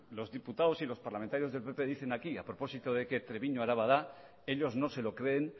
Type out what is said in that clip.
los diputados y los parlamentarios del pp dicen aquí a propósito de que treviño araba da ellos no se lo creen